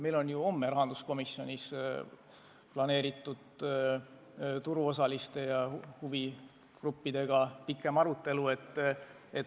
Meil on homme rahanduskomisjonis plaanis pikem arutelu turuosaliste ja muude huvigruppidega.